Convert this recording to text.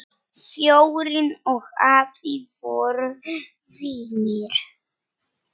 Sjórinn og afi voru vinir.